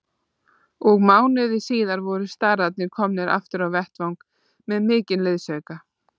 Og mánuði síðar voru starrarnir komnir aftur á vettvang með mikinn liðsauka.